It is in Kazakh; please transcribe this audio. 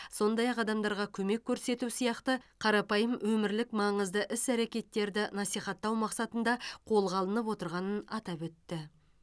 сондай ақ адамдарға көмек көрсету сияқты қарапайым өмірлік маңызды іс әрекеттерді насихаттау мақсатында қолға алынып отырғанын атап өтті